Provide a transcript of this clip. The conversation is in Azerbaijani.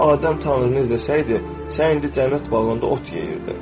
Əgər Adəm Tanrını izləsəydi, sən indi cənnət bağında ot yeyirdi.